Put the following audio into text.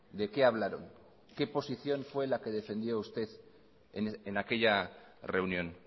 de qué hablaron qué posición fue la que defendió usted en aquella reunión